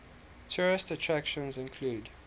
tourist attractions include